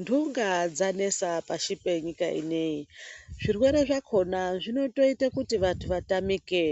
Ntunga dzanesa pashi penyika ineyi. Zvirwere zvakona zvinotoite kuti vantu vatamike.